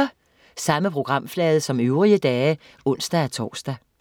Samme programflade som øvrige dage (ons-tors)